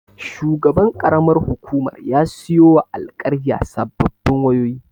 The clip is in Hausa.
Shugaban ƙaramar hukumar ya siyowa alƙaryar sababbin wayoyi.